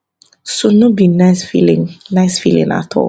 so no be nice feeling nice feeling at all